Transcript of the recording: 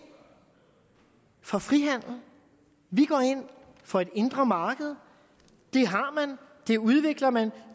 for frihandel vi går ind for et indre marked det har man det udvikler man